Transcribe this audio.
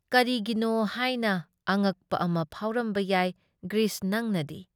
ꯀꯔꯤꯒꯤꯅꯣ ꯍꯥꯏꯅ ꯑꯉꯛꯄ ꯑꯃ ꯐꯥꯎꯔꯝꯕ ꯌꯥꯏ ꯒ꯭ꯔꯤꯁ ꯅꯪꯅꯗꯤ ꯫